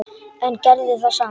En gerði það samt.